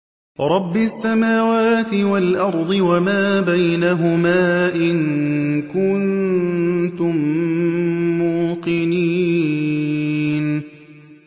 رَبِّ السَّمَاوَاتِ وَالْأَرْضِ وَمَا بَيْنَهُمَا ۖ إِن كُنتُم مُّوقِنِينَ